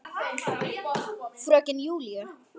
Fröken Júlíu.